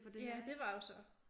Ja det var jo så